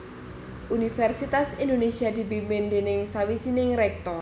Univèrsitas Indonésia dipimpin déning sawijining Rèktor